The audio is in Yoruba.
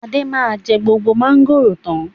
Adé máa jẹ gbogbo mọ̀ngòrò tán.